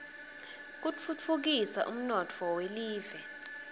kutfutfukisa umnotfo welive